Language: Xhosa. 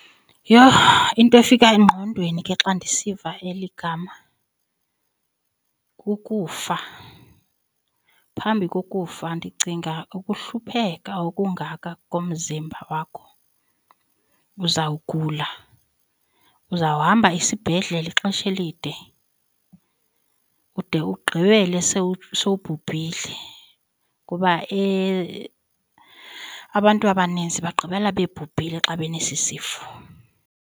Yho into efika engqondweni ke xa ndisiva eli gama kukufa. Phambi kokufa ndicinga ukuhlupheka okungaka komzimba wakho uzawugula, uzawuhamba isibhedlele ixesha elide ude ugqibele sewubhubhile kuba abantu abaninzi bagqibela bebhubhile xa benesi sifo.